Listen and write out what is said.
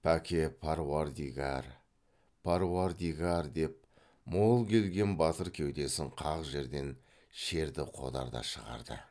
пәке паруардигар паруардигар деп мол келген батыр кеудесін қақ жерден шерді қодар да шығарды